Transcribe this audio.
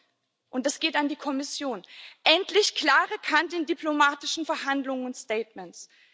Und und das geht an die Kommission endlich klare Kante in diplomatischen Verhandlungen und Statements!